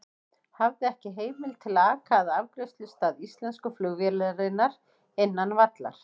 Hafði ekki heimild til að aka að afgreiðslustað íslensku flugvélarinnar innan vallar.